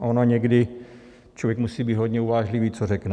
A ono někdy člověk musí být hodně uvážlivý, co řekne.